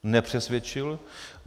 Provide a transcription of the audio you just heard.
Nepřesvědčil.